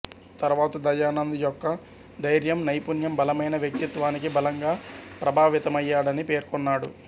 తరువాత దయానంద్ యొక్క ధైర్యం నైపుణ్యం బలమైన వ్యక్తిత్వానికి బలంగా ప్రభావితమయ్యాడని పేర్కొన్నాడు